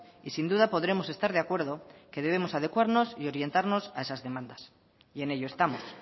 y sin duda podremos estar de acuerdo que debemos adecuarnos y orientarnos a esas demandas y en ello estamos